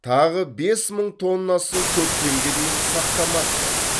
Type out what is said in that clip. тағы бес мың тоннасын көктемге дейін сақтамақпыз